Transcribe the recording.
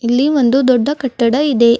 ಇಲ್ಲಿ ಒಂದು ದೊಡ್ಡ ಕಟ್ಟಡ ಇದೆ.